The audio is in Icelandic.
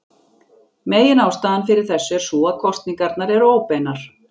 Meginástæðan fyrir þessu er sú að kosningarnar eru óbeinar.